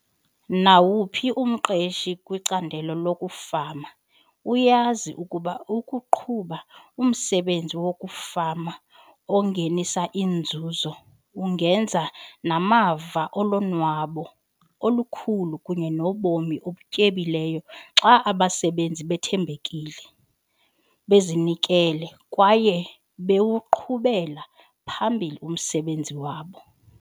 Nawuphi umqeshi kwicandelo lokufama uyazi ukuba ukuqhuba umsebenzi wokufama ongenisa inzuzo ungeza namava olonwabo olukhulu kunye nobomi obutyebileyo xa abasebenzi bethembekile, bezinikele kwaye bewuqhubela phambili umsebenzi wabo.